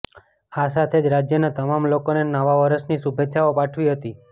આ સાથે જ રાજ્યના તમામ લોકોને નવા વર્ષની શુભેચ્છાઓ પાઠવી હતી